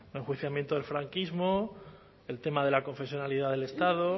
enjuiciamiento del franquismo el tema de la confesionalidad del estado